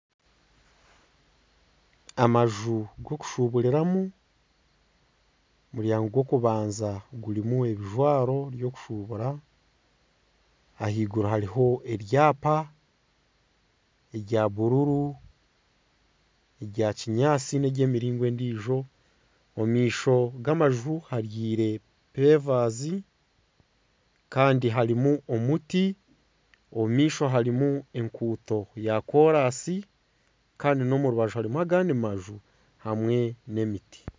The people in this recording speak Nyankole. Amaju g'okushuburiramu, omu rwango gw'okubanza gurimu ebijwaro by'okushubura, ahaiguru hariho ebyapa bya bururu, omu maisho g'amaju habyire pevazi kandi harimu omuti omu maisho harimu enguuto ya koorasi kandi n'omu rubaju hariho agandi maju hamwe n'emiti